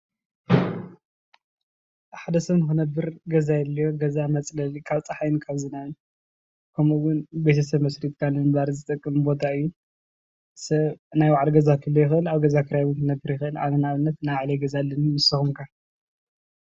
ሓደ ሰብ ንኽነብር ገዛ የድልዮ፣ ገዛ መፅለሊ ካብ ፅሓይ ካብ ዝናብን ከምኡ እውን ቤተሰብ መስሪትካ ንምንባር ዝጠቅም ቦታ እዩ። ሰብ ናይ ባዕሉ ገዛ ይክእል፣ ኣብ ገዛ ክራይ እውን ክነብር ይክእል። ኣነ ናይ ባዕለይ ገዛ ኣለኒ ንስኩም ከ?